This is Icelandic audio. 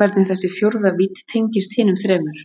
hvernig þessi fjórða vídd tengist hinum þremur.